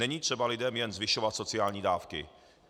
Není třeba lidem jen zvyšovat sociální dávky.